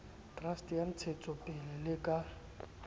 trust ya ntsahetsopele le ka